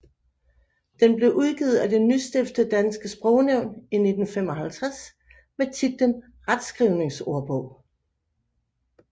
Den blev udgivet af det nystiftede Dansk Sprognævn i 1955 med titlen Retskrivningsordbog